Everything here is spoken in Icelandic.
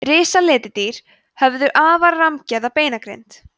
risaletidýr höfðu afar rammgerða beinagrind